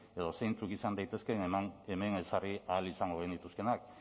edo zeintzuk izan daitezkeen hemen ezarri ahal izango genituzkeenak